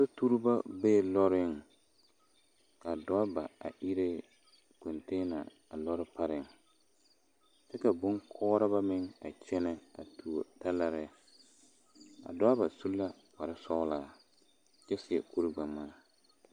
Sotuuriba bee lɔɔreŋ ka doraba a iri kontɛɛna a lɔɔre pareŋ kyɛ ka koɔreba meŋ a kyɛnɛ a a tuo talaare doraba su la kpare kyɛ seɛ kuri gbɛŋmaa.